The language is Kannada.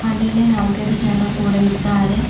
ಹಾಗೆ ಅಲ್ಲಿ ನಾಲ್ಕೈದು ಜನ ಕೂಡ ಇದ್ದಾರೆ.